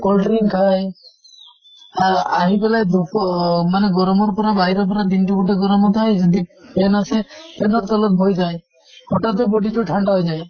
cold drink খায় আহ আহি ফালে ধুপৰ মানে গৰমৰ বাহিৰৰ পৰা দিন টো গোতেই গৰমত আহে সিহঁতে যদি fan আছে, fan ৰ তলত বহি যায়। হঠাতে body টো ঠান্ডা হৈ যায়।